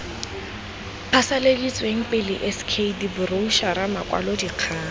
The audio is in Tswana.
phasaladitsweng pele sk diboroutšhara makwalodikgang